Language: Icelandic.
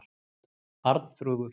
Arnþrúður